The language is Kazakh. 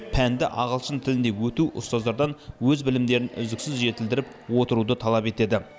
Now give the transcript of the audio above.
пәнді ағылшын тілінде өту ұстаздардан өз білімдерін үздіксіз жетілдіріп отыруды талап етеді